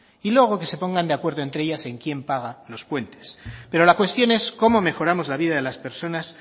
y luego que se pongan de acuerdo entre ellas en quién paga los puentes pero la cuestión es cómo mejoramos la vida de las personas